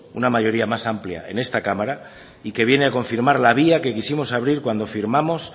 una mayoría más amplia en esta cámara y que viene a confirmar la vía que quisimos abrir cuando firmamos